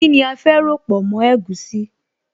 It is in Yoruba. Kíni a fẹ́ ròpọ̀ mọ́ egusi?